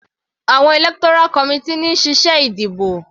Àwọn electoral committee ní ń ṣe iṣẹ́ ìdìbò.